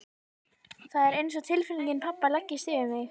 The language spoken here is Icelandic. Það er einsog tilfinning pabba leggist yfir mig.